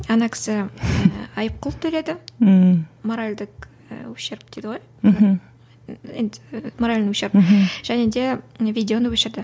ана кісі айыппұл төледі ммм моральдік і ущерб дейді ғой мхм енді моральный ущерб мхм және де видеоны өшірді